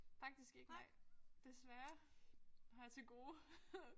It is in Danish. Faktisk ikke nej. Desværre. Det har jeg til gode